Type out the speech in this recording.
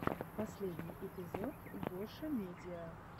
последний эпизод гошамедиа